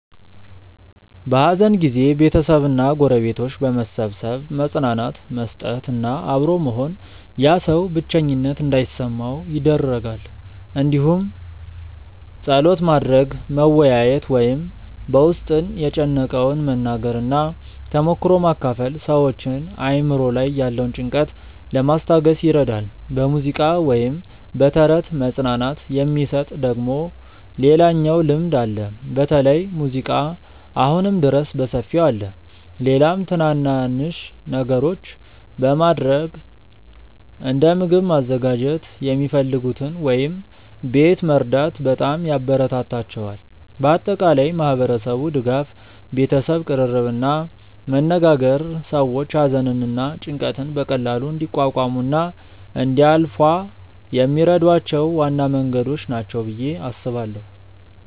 በሐዘን ጊዜ ቤተሰብ እና ጎረቤቶች በመሰብሰብ መጽናናት መስጠት እና አብሮ መሆን ያ ሰው ብቸኝነት እንዳይሰማው ይደረጋል እንዲሁም ጸሎት ማድረግ፣ መወያየት ወይም በ ውስጥን የጨነቀውን መናገር እና ተሞክሮ መካፈል ሰዎችን አእምሮ ላይ ያለውን ጭንቀት ለማስታገስ ይረዳል። በሙዚቃ ወይም በተረት መጽናናት የሚሰጥ ደግሞ ሌላኛው ልምድ አለ በተለይ ሙዚቃ አሁንም ድረስ በሰፊው አለ። ሌላም ትናናንሽ ነገሮች በማረግ እንደ ምግብ ማዘጋጀት የሚፈልጉትን ወይም ቤት መርዳት በጣም ያበራታታቸዋል። በአጠቃላይ ማህበረሰቡ ድጋፍ፣ ቤተሰብ ቅርርብ እና መነጋገር ሰዎች ሐዘንን እና ጭንቀትን በቀላሉ እንዲቋቋሙ እና እንዲያልፏ የሚረዷቸው ዋና መንገዶች ናቸው ብዬ አስባለው።